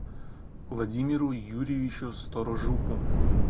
владимиру юрьевичу сторожуку